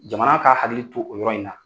Jamana ka hakili to o yɔrɔ in na.